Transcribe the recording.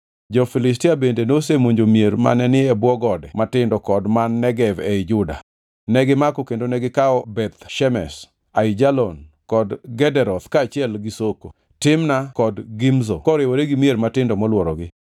Jo-Filistia bende nosemonjo mier mane ni e bwo gode matindo kod man Negev ei Juda. Negimako kendo gikawo Beth Shemesh, Aijalon kod Gederoth kaachiel gi Soko, Timna kod Gimzo koriwore gi mier matindo molworogi.